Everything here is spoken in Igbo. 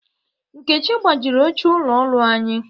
Nkechi gbajiri oche ụlọ oru anyi.